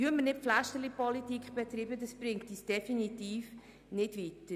«Pflästerlipolitik» bringt uns definitiv nicht weiter.